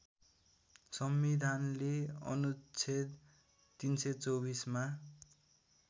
संविधानले अनुच्छेद ३२४ मा